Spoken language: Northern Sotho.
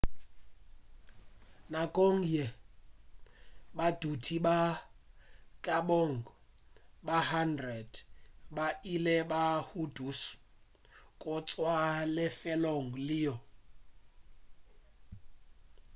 nakong yeo badudi ba e ka bago ba 100 ba ile ba hudušwa go tšwa lefelong leo